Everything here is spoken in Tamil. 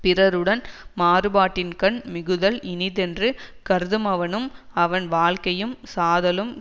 பிறருடன் மாறுபாட்டின்கண் மிகுதல் இனிதென்று கருதுமவனும் அவன் வாழ்க்கையும் சாதலும்